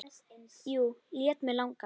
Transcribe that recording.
Jú, lét mig langa.